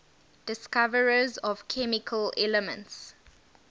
discoverers of chemical elements